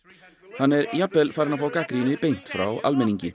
hann er jafnvel farinn að fá gagnrýni beint frá almenningi